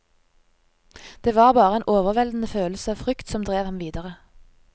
Det var bare en overveldende følelse av frykt som drev ham videre.